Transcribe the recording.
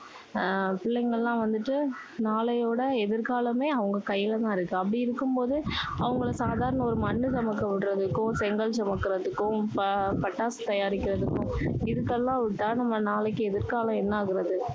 ஆஹ் பிள்ளைங்க எல்லாம் வந்துட்டு, நாளையோட எதிர்காலமே அவங்க கையில தான் இருக்கு. அப்படி இருக்கும்போது அவங்களை சாதாரண ஒரு மண்ணு சுமக்க விடுறதுக்கும் செங்கல் சுமக்குறதுக்கும் ப~பட்டாசு தயாரிக்கறதுக்கும் இதுக்கெல்லாம் விட்டா, நம்ம நாளைக்கு எதிர்காலம் என்ன ஆகுறது?